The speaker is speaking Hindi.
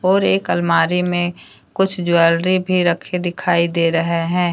और एक अलमारी में कुछ ज्वेलरी भी रखे दिखाई दे रहे हैं।